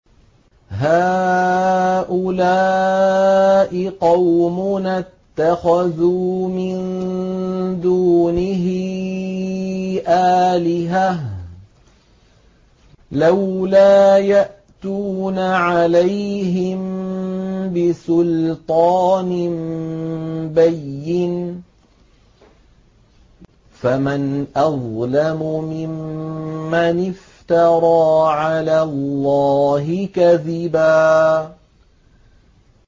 هَٰؤُلَاءِ قَوْمُنَا اتَّخَذُوا مِن دُونِهِ آلِهَةً ۖ لَّوْلَا يَأْتُونَ عَلَيْهِم بِسُلْطَانٍ بَيِّنٍ ۖ فَمَنْ أَظْلَمُ مِمَّنِ افْتَرَىٰ عَلَى اللَّهِ كَذِبًا